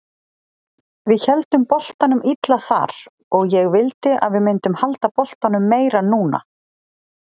Við héldum boltanum illa þar og ég vildi að við myndum halda boltanum meira núna.